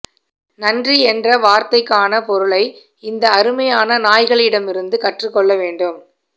நன்றி என்ற வார்த்தைக்கான பொருளை இந்த அருமையான நாய்களிடமிருந்து கற்றுக்கொள்ள வேண்டும்